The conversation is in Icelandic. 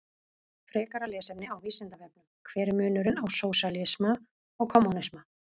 Frekara lesefni á Vísindavefnum: Hver er munurinn á sósíalisma og kommúnisma?